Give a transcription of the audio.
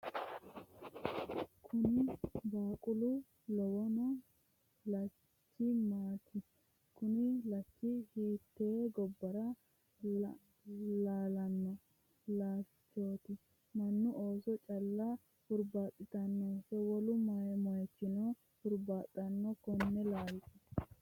kuni baaqula lawanno laalchi maati? kuni laalchi hiittee gobbara laalanno laalchooti? mannu ooso calla hurbaaxitanonso wolu moyiichino hurbaaxanno konne laalcho?